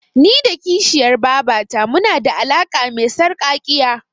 Ni da kishiyar babata munada alaƙa me sarƙaƙiya.